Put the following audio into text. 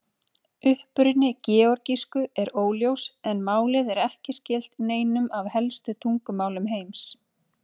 Uppruni georgísku er óljós en málið er ekki skylt neinum af helstu tungumálum heims.